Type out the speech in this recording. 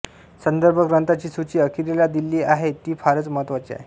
संदर्भ ग्रंथांची सूची अखेरीला दिली आहे ती फारच महत्त्वाची आहे